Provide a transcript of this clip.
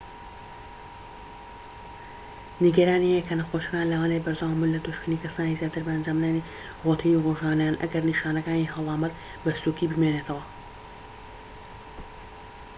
نیگەرانی هەیە کە نەخۆشەکان لەوانەیە بەردەوام بن لە توشکردنی کەسانی زیاتر بە ئەنجامدانی رۆتینی ڕۆژانەیان ئەگەر نیشانەکانی هەڵامەت بە سووکی بمێننەوە